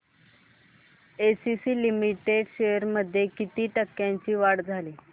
ACC limited shares मध्ये किती टक्क्यांची वाढ झाली